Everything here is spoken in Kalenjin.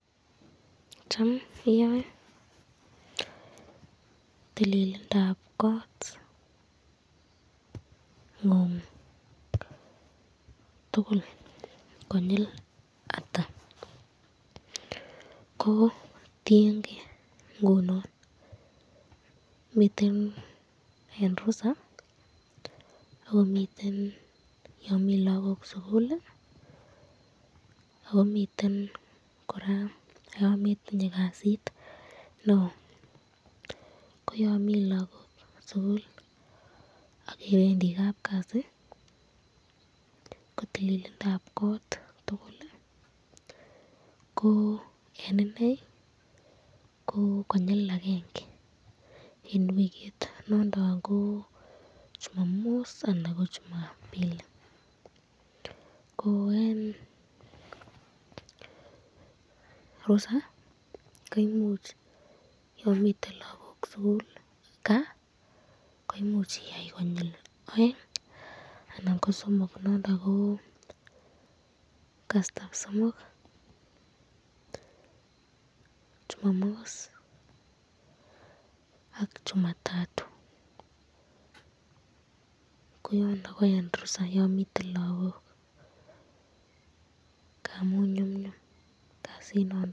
Cham iyoe tililindab kongun tukul konyil ata, ko tienke ngunon miten eng rusa ako miten yon mi lagok sukul akomiten koraa yan metinye kasit neo, ko yan mi lagok sukul akebendi kabkasi ko tililindab kot tukul ko eng inei ko konyil akenge eng wikit nondon ko jumamis anan ko jumambili, ko eng rusaa koimuch yon miten lagok kaa koimuch iyai konyil aeng anan ko somok nondon ko kasitab somok, jumamos ak jumatatuu.